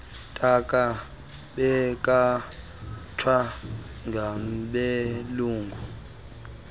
ntaka bekhatshwa ngabelungu